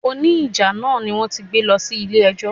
O ní jà náà ni wón ti gbé lọ sí ilé ẹjọ́.